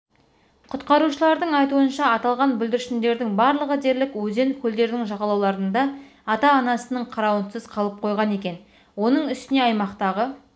құтқарушылардың айтуынша аталған бүлдіршіндердің барлығы дерлік өзен-көлдердің жағалауларында ата-анасының қарауынсыз қалып қойған екен оның үстіне аймақтағы